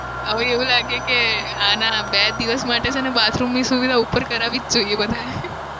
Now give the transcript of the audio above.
હવે એવું લાગે કે આના બે દિવસ માટે છે ને બાથરૂમની સુવિધા ઉપર કરાવી જ જોઈએ બધાએ.